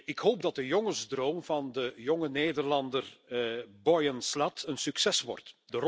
Ik hoop dat de jongensdroom van de jonge Nederlander Boyan Slat een succes wordt.